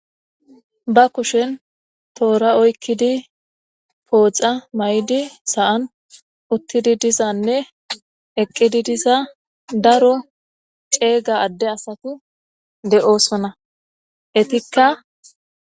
ba kushen toora oykkidi pooxa may7di saan uttidi disanne eqqidi disa daro ceega adde asatu de7osona etikka